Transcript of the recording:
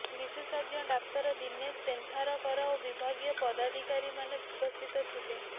ବିଶେଷଜ୍ଞ ଡାକ୍ତର ଦିନେଶ ପେନ୍ଧାରକର ଓ ବିଭାଗୀୟ ପଦାଧିକାରୀମାନେ ଉପସ୍ଥିତ ଥିଲେ